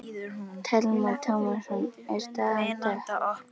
Telma Tómasson: Er staðan dökk?